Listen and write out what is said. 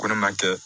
Ko ne ma kɛ